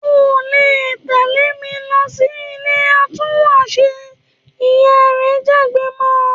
‘O ò lè tè̩lé mi lo̩ sí ilé atúnwàṣe!', ìyá rẹ̀ jágbe mo̩